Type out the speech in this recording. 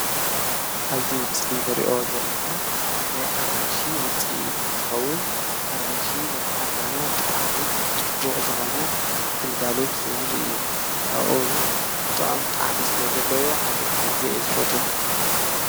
ኣዙ ምስሊ ንርእኦ ዘለማ ናይ ኣራንሺ ውፂ ትንትኸውን ኣራንሺ ንጣዕና ብጥዕሚ ጥቡቕ ዝኾነ ግልጋሎት ዝህብ እዩ ።ካብኦውን ጥዖም ጣዕሚ ስለ ዘለዎ ኣነ ኣዘይ ኣዝፈቶ።